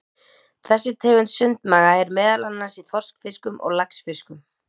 Þessi tegund sundmaga er meðal annars í þorskfiskum og laxfiskum.